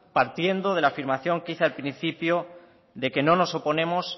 partiendo de la afirmación que hice al principio de que no nos oponemos